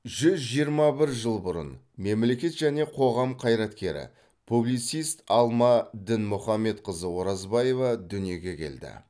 жүз жиырма жыл бұрын мемлекет және қоғам қайраткері публицист алма дінмұхамедқызы оразбаева дүниеге келді